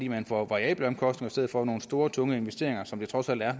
at man får variable omkostninger i stedet for nogle store tunge investeringer som det trods alt er